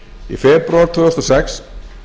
í febrúar tvö þúsund og sex